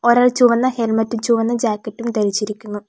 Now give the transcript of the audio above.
ഒരാൾ ചുവന്ന ഹെൽമെറ്റും ചുവന്ന ജാക്കറ്റും ധരിച്ചിരിക്കുന്നു.